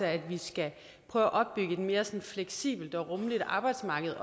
at vi skal prøve at opbygge et mere sådan fleksibelt og rummeligt arbejdsmarked